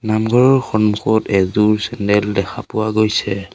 নামঘৰৰ সন্মুখত এযোৰ চেণ্ডেল দেখা পোৱা গৈছে।